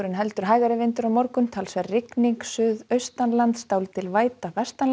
heldur hægari vindur á morgun talsverð rigning suðaustanlands dálítil væta